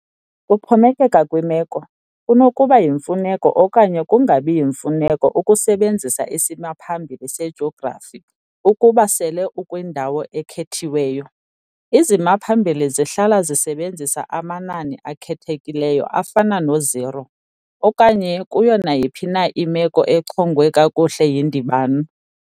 Kuxhomekeka kwimeko, kunokuba yimfuneko okanye kungabi yimfuneko ukusebenzisa isimaphambili sejografi ukuba sele ukwindawo ekhethiweyo, izimaphambili zihlala zisebenzisa amanani akhethekileyo afana no-zero, okanye kuyo nayiphi na imeko echongwe kakuhle yindibano.